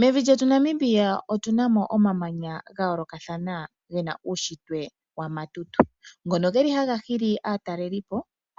Mevi lyetu Namibia otu na mo omamanya ga yoolokathana ge na uunshitwe wa matutu, ngono haga hili aatalelipo,